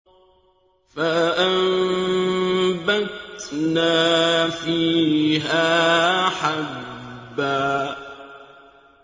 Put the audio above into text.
فَأَنبَتْنَا فِيهَا حَبًّا